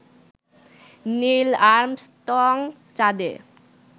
নীল Armstrong চাঁদে